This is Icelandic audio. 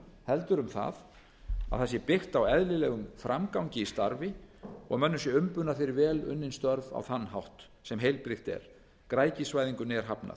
heldur um það að það sé byggt á eðlilegum framgangi í starfi og mönnum sé umbunað fyrir vel unnin störf á þann hátt sem heilbrigt er græðgisvæðingunni er hafnað